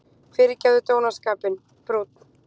Fyrirgefðu dónaskapinn: brúnn.